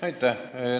Aitäh!